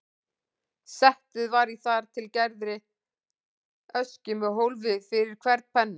Settið var í þar til gerðri öskju með hólfi fyrir hvern penna.